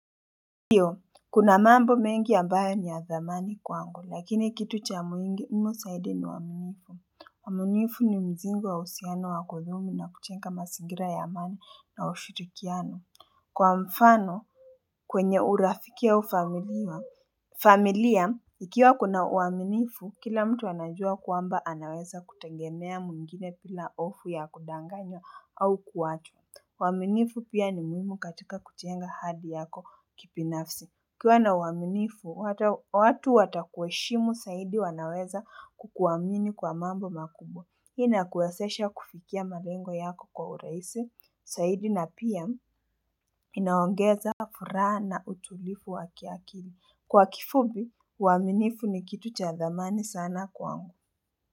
Ndiyo, kuna mambo mengi ambayo ni ya thamani kwangu, lakini kitu cha umuhimu zaidi ni uaminifu. Uaminifu ni mzigo wa uhusiano wa kolumi na kujenga mazingira ya amani na ushirikiano. Kwa mfano, kwenye urafiki au familia, ikiwa kuna uaminifu, kila mtu anajuwa kwamba anaweza kutengemea mwingine bila hofu ya kudanganya au kuachwa. Uaminifu pia ni muhimu katika kujenga hadi yako kibinafsi. UKIwa na uaminifu, watu watakuheshimu zaidi wanaweza kukuwamini kwa mambo makubwa. Ina kuwezesha kufikia malengo yako kwa urahisi, zaidi na pia inaongeza fura na utulivu wakiakili. Kwa kifupi, uaminifu ni kitu cha thamani sana kwangu.